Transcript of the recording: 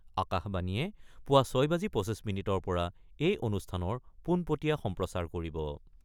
আকাশবাণীয়ে পুৱা ৬ বাজি ২৫ মিনিটৰ পৰা এই অনুষ্ঠানৰ পোনপটীয়া সম্প্ৰচাৰ কৰিব।